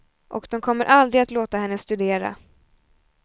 Och de kommer aldrig att låta henne studera.